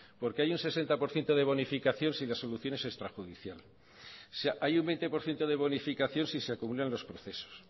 porque hay un sesenta por ciento de bonificación si la solución es extrajudicial o sea hay un veinte por ciento de bonificación si se cumplen los procesos